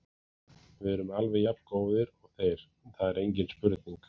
Við erum alveg jafn góðir og þeir, það er engin spurning.